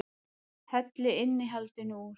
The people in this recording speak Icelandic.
Hellið innihaldinu úr